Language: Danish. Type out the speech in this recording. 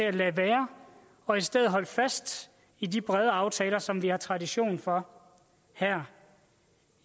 at lade være og i stedet holde fast i de brede aftaler som vi har tradition for her